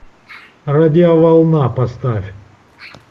радиоволна поставь